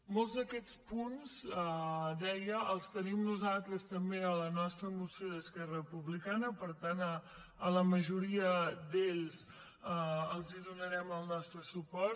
molts d’aquests punts deia els tenim nosaltres també en la nostra moció d’esquerra republicana per tant en la majoria d’aquests els donarem el nostre suport